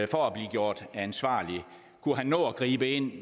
for at blive gjort ansvarlig kunne han nå at gribe ind i